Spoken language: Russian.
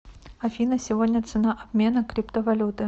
афина сегодня цена обмена криптовалюты